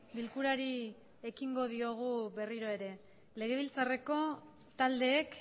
bilkurari ekingo diogu berriro ere legebiltzareko taldeek